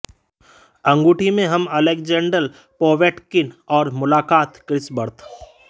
अंगूठी में हम अलेक्जेंडर पोवेटकिन और मुलाकात क्रिस बर्ड